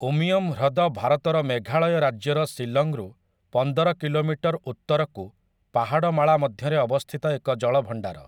ଉମିୟମ୍ ହ୍ରଦ ଭାରତର ମେଘାଳୟ ରାଜ୍ୟର ଶିଲଂରୁ ପନ୍ଦର କିଲୋମିଟର ଉତ୍ତରକୁ ପାହାଡ଼ମାଳା ମଧ୍ୟରେ ଅବସ୍ଥିତ ଏକ ଜଳଭଣ୍ଡାର ।